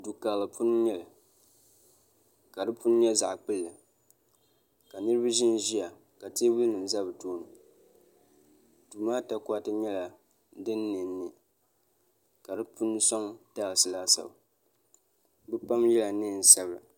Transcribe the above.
Du'karili puuni n nyɛli ka di puuni nyɛ zaɣa kpilli ka niriba ʒinʒia teebuli nima za bɛ tooni duu maa takoriti nyɛla di niɛniɛ ka di puuni soŋ taasi laasabu bɛ pam yela niɛn'sabla.